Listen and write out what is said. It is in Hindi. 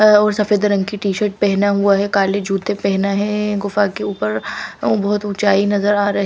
अह और सफेद रंग की टी शर्ट पहना हुआ है काले जूते पहना है गुफा के ऊपर बहुत ऊंचाई नजर आ रही--